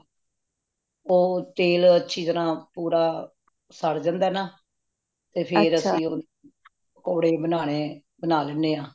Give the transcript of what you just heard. ਉਹ ਤੇਲ ਅੱਛੀ ਤਰਾਹ ਪੂਰਾ ਸੜਜੰਦਾ ਨਾ ਤੇ ਫੇਰ ਅਸੀਂ ਨਾ ਪਕੌੜੇ ਬਣਾਨੇ ਬਣਾ ਲੈਣੇ ਹਾਂ